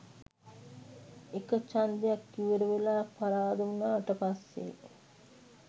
එක චන්දයක් ඉවරවෙලා පරාද උනාට පස්සේ